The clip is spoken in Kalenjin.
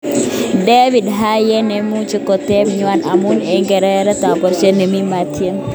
David Haye memuchi kotep ngweny, amu eng nerekek ab barastaindet nemi batet nyin.